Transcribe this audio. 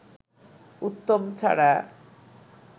উত্তম ছাড়া